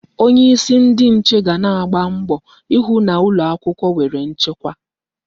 Onyeisi ndi nche ga na-agba mbọ ịhụ na ụlọ akwụkwọ nwere nchekwa.